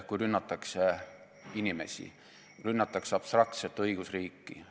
Kui rünnatakse inimesi, rünnatakse abstraktset õigusriiki.